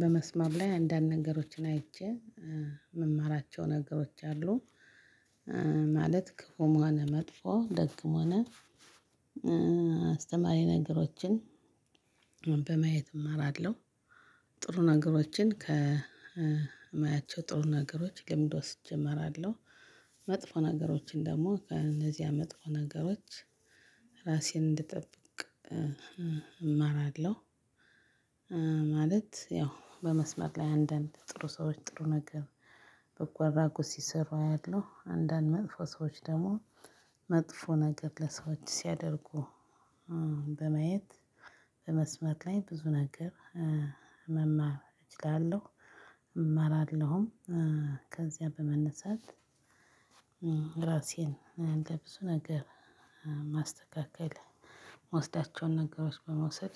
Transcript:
በመስመር ላይ አንዳንድ ነገሮችን አይቼ የምማራቸው ነገሮች አሉ። ማለት ክፉም ሆነ መጥፎ ደግም ሆነ። አስተማሪ ነገሮችን በማየት እማራለሁ። ጥሩ ነገሮችን ከማያቸው ጥሩ ነገሮች ልምድ ወስጄ እማራለሁ። መጥፎ ነገሮችን ደግሞ ከእነዚያ መጥፎ ነገሮች ራሴን እንድጠብቅ እማራለሁ። ማለት ያው በመስመር ላይ አንዳንድ ጥሩ ሰዎች ጥሩ ነገር በጎ አድራጎት ሲሰሩ አያለሁ። አንዳንድ መጥፎ ሰዎች ደግሞ መጥፎ ነገር ለሰዎች ሲያደርጉ። በማየት በመስመር ላይ ብዙ ነገር መማር እችላለሁ። እማራለሁም ከዚያ በመነሳት። ራሴን እንደ ብዙ ነገር ማስተካከል የምወስዳቸውን ነገሮች በመውሰድ